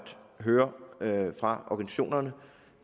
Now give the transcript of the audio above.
høre fra organisationerne